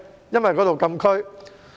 因為該處是禁區。